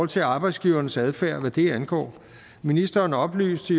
til arbejdsgivernes adfærd hvad det angår ministeren oplyste